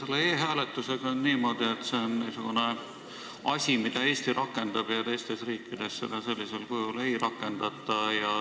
Selle e-hääletusega on niimoodi, et see on niisugune asi, mida Eesti rakendab ja teistes riikides seda sellisel kujul ei rakendata.